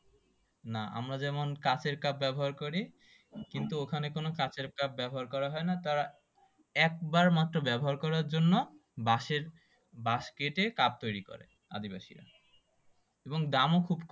না আমরা যেমন কাঁচের কাপ ব্যবহার করি কিন্তু ওখানে কোন কাঁচের কাপ ব্যবহার করা হয় না তারা একবার মাত্র ব্যবহার করার জন্য বাঁশের বাঁশ কেটে কাপ তৈরি করে আদিবাসীরা এবং দামও খুব